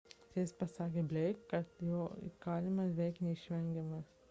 teisėjas pasakė blake kad jo įkalinimas beveik neišvengiamas